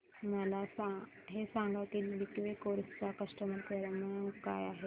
मला हे सांग की लिंकवे कार्स चा कस्टमर केअर क्रमांक काय आहे